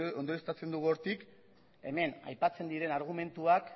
ondorioztatzen dugu hortik hemen aipatzen diren argumentuak